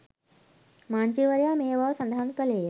මන්ත්‍රීවරයා මේ බව සඳහන් කළේය